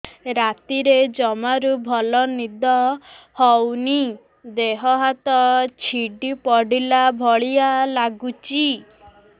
ରାତିରେ ଜମାରୁ ଭଲ ନିଦ ହଉନି ଦେହ ହାତ ଛିଡି ପଡିଲା ଭଳିଆ ଲାଗୁଚି